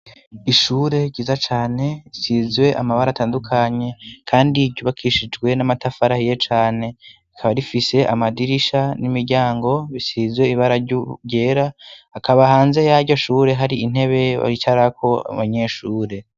ishure ryiza cane isizwe amabara atandukanye kandi ryubakishijwe n'amatafari ahiye cane rikaba rifise amadirisha n'imiryango bisizwe ibara ryera akaba hanze y'amiryoshure hari intebe bicarako abanyeshure